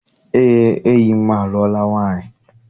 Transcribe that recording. Eé, enyi m alụọla nwaanyị.